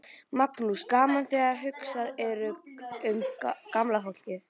Magnús: Gaman þegar hugsað er um gamla fólkið?